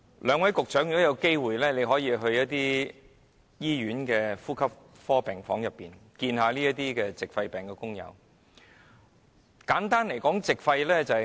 兩位局長如有機會，可到醫院的呼吸科病房，看看患上矽肺病工友的情況。